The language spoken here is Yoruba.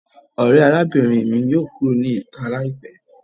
Ore arabinrin mi yoo kuro ni ita laipẹ